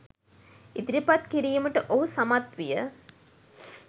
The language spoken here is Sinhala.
ඉදිරිපත් කිරීමට ඔහු සමත් විය